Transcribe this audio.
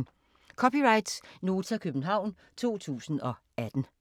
(c) Nota, København 2018